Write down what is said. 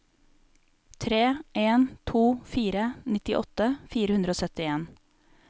tre en to fire nittiåtte fire hundre og syttien